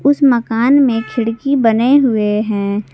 उसे मकान में खिड़की बने हुए हैं।